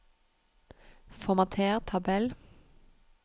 Formater tabell